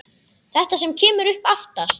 Þetta sem kemur upp aftast.